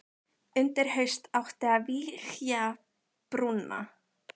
Undir haust átti að vígja brúna.